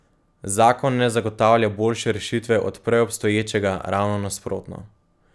Zakon ne zagotavlja boljše rešitve od prej obstoječega, ravno nasprotno.